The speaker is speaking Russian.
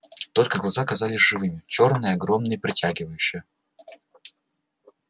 только глаза казались живыми чёрные огромные притягивающие